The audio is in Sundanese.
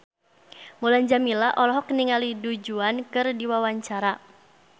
Mulan Jameela olohok ningali Du Juan keur diwawancara